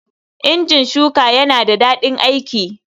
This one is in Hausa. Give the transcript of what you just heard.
Injin shuka yana da daɗin aiki.